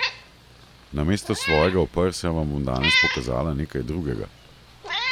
Namesto svojega oprsja vam bom danes pokazala nekaj drugega!